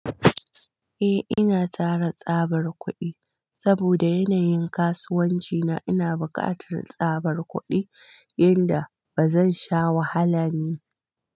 Eh, ina tara tsabar kuɗi saboda yanayin kasuwanci na. Ina buƙatar tsabar kuɗi yanda ba zan sha wahala ne.